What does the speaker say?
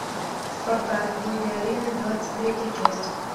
спартак боги арены двадцать третья часть